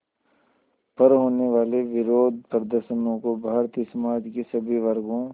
पर होने वाले विरोधप्रदर्शनों को भारतीय समाज के सभी वर्गों